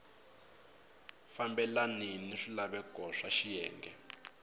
fambelani ni swilaveko swa xiyenge